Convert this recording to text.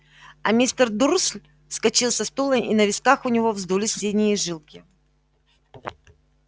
а мистер дурсль вскочил со стула и на висках у него вздулись синие жилки